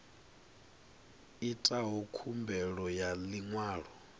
itaho khumbelo ya ḽi ṅwalo